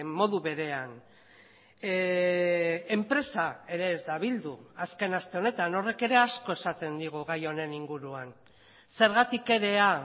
modu berean enpresa ere ez da bildu azken aste honetan horrek ere asko esaten digu gai honen inguruan zergatik erea